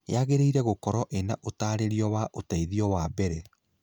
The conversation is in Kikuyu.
Yagĩrĩire gũkoro ĩna ũtarĩrio wa ũteithio wa mbere.